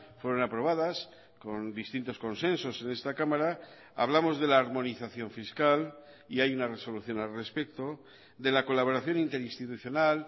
fueron aprobadas con distintos consensos en esta cámara hablamos de la armonización fiscal y hay una resolución al respecto de la colaboración interinstitucional